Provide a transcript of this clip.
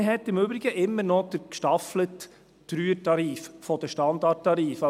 Man hat im Übrigen immer noch den gestaffelten 3er-Tarif der Standardtarife.